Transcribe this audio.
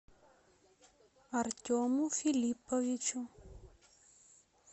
артему филипповичу